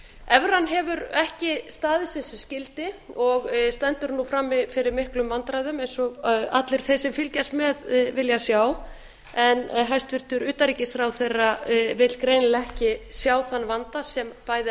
evran hefur ekki staðið sig sem skyldi og stendur nú frammi fyrir miklum vandræðum eins og allir þeir sem fylgjast með vilja sjá en hæstvirtur utanríkisráðherra vill greinilega ekki sjá þann vanda sem bæði